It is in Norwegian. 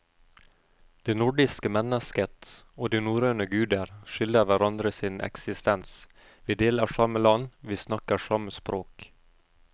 Det nordiske mennesket og de norrøne guder skylder hverandre sin eksistens, vi deler samme land, vi snakker samme språk.